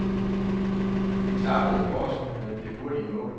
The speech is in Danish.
Det klappede for os med det hurtige mål.